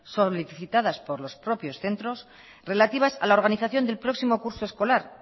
solicitadas por los propios centros relativas a la organización del próximo curso escolar